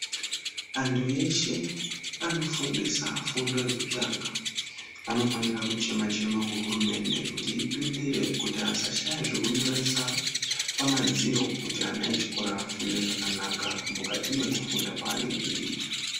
Antu eshe vanofundisa fundo yekutanga anofanira kuchema chema kuhurumende kuti ipindire kuti asashaya zvekunyoresa pamadziro, kuti ana echikoro afunde zvakanaka mukati kwekufunda kwaanenge eiita.